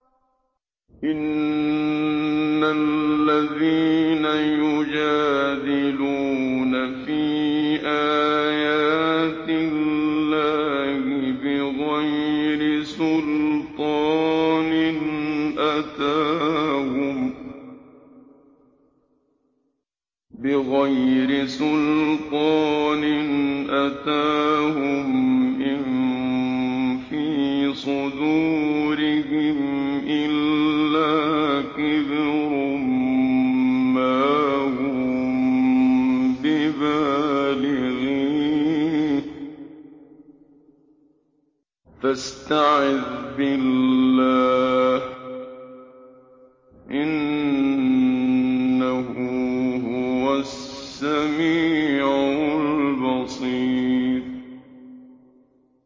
إِنَّ الَّذِينَ يُجَادِلُونَ فِي آيَاتِ اللَّهِ بِغَيْرِ سُلْطَانٍ أَتَاهُمْ ۙ إِن فِي صُدُورِهِمْ إِلَّا كِبْرٌ مَّا هُم بِبَالِغِيهِ ۚ فَاسْتَعِذْ بِاللَّهِ ۖ إِنَّهُ هُوَ السَّمِيعُ الْبَصِيرُ